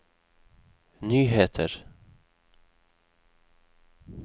nyheter